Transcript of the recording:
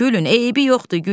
gülün, eybi yoxdur, gülün.